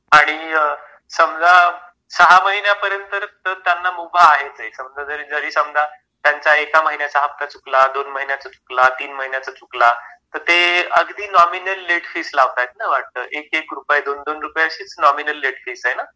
आणि समजा सहा महिन्यापर्यंत तर त्यांना मुभा आहेच आहे. समजा जरी समजा त्यांचा एका महिन्याचा हप्ता चुकला, दोन महिन्याचा चुकला , तीन महिन्याचा चुकला, तर ते अगदी नॉमिनल लेट फीज लावतात आहेत ना वाटतं? एक एक रुपये दोन दोन रुपये अशीच नॉमिनल लेट फी आहे ना.